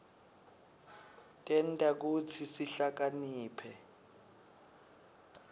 tenta kutsi sihlakaniphe